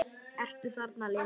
Ertu þarna Lilla?